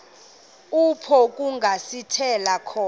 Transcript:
apho kungasithela khona